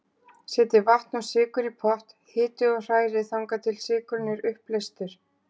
Setjið vatn og sykur í pott, hitið og hrærið þangað til sykurinn er uppleystur.